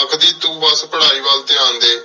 ਆਖਦੀ ਤੂ ਬਾਸ ਪਢ਼ਾਈ ਵਾਲ ਟੀਂ ਡੀ